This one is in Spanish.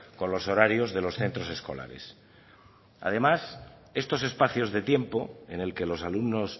con los horarios de los centros escolares además estos espacios de tiempo en el que los alumnos